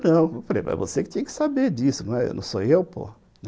Eu falei, mas você que tinha que saber disso, não sou eu, pô.